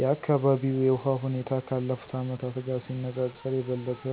የአካባቢው የውሃ ሁኔታ ካለፉት አመታት ጋር ሲነጻጸር የበለጠ